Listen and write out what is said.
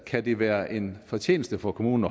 kan det være en fortjeneste for kommunen